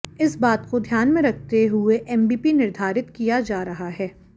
इस बात को ध्यान में रखते हुए एमबीपी निर्धारित किया जा रहा है